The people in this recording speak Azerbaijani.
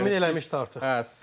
Təmin eləmişdi artıq.